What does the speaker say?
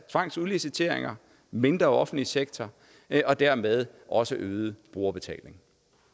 tvangsudliciteringer mindre offentlig sektor og dermed også øget brugerbetaling